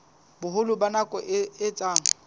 boholo ba nako e etsang